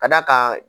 Ka d'a kan